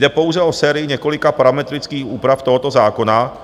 Jde pouze o sérii několika parametrických úprav tohoto zákona,